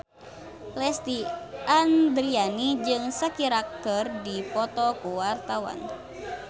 Lesti Andryani jeung Shakira keur dipoto ku wartawan